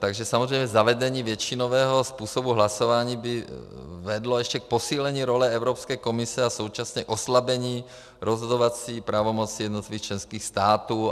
Takže samozřejmě zavedení většinového způsobu hlasování by vedlo ještě k posílení role Evropské komise a současně oslabení rozhodovací pravomoci jednotlivých členských států.